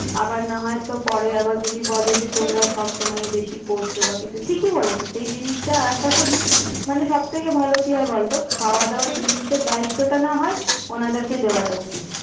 আবার না হয় তো পরে যদি আবার বলে তোমরা সবসময়ই বেশি করছো বা কিছু ঠিক বলেছিস এই জিনিসটা আশা করি মানে সবথেকে ভালো কি হয় বল তো খাওয়া দাওয়ার জিনিসের দায়িত্বটা নাহয় ওনাদেরকেই দেওয়া উচিত